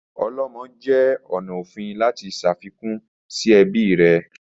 Olomo jẹ ọna ofin lati ṣafikun si ẹbi rẹ